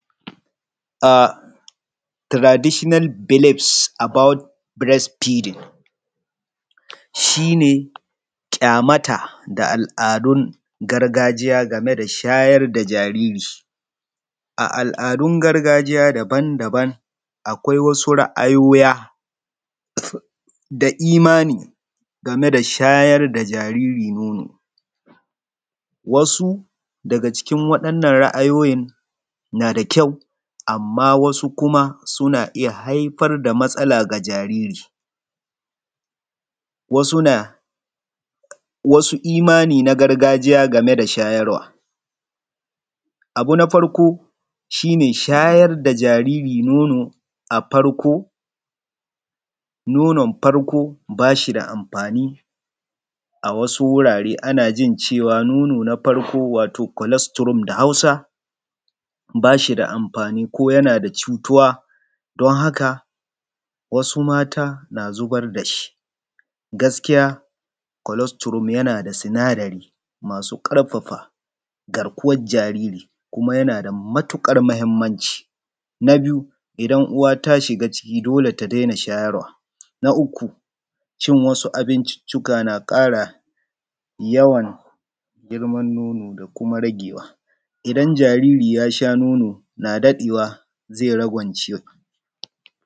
Traditional village About Breast Feeding, shi ne ƙyamata da al'adun gargajiya game da shayar da jariri. A al'adun gargajiya daban-daban akwai wasu ra'ayoya da imani game da shayar da jariri momo. Wasu daga ciki waɗannan raayoyin na da ƙyau, amma wasu na iya haifar da matsala ga jariri wasu na wasu imani na gargajiya game da shayarwa. Abu na farko shi ne shayar da jariri nonon farko ba shi da amfani a wsu wurare ana jin cewa nonon farko waro cholesterol da Hausa ba shi da amfani konyan cutuwa wasu mata na zubar da shi. Gaskiya cholesterol yan da sinadari masu ƙarfafa garkuwar jariri kuma yana da matuƙar mahimmanci. Na biyu idan uwa ta shiga ciki ciki dole ta daina shayarwa. Na uku cin wasu abinciccika na ƙara yawan girma nono da kuma ragewa. Idan jariri ya sha nono na daɗewa zai rangwance.